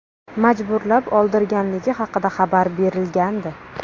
majburlab oldirganligi haqida xabar berilgandi .